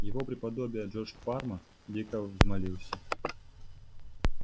его преподобие джордж парма дико взмолился